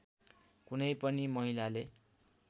कुनै पनि महिलाले